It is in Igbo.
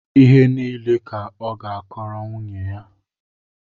Ihe niile ka ọ ga-akọọrọ nwunye ya